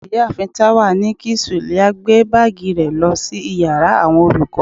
ìyáàfín tawa ní kí suliat gbe baagí re lo sí íyarà awọn olukọ